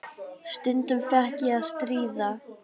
Stundum fékk ég að stýra.